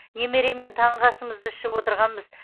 немереммен таңғы асымызды ішіп отырғанбыз